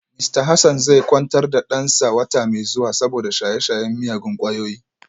Mista Hassan zai kwantar da dansa wata mai zuwa saboda shaye-shayen miyagun kwayoyi